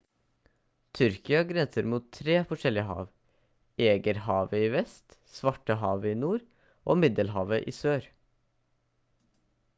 tyrkia grenser mot 3 forskjellige hav egeerhavet i vest svartehavet i nord og middelhavet i sør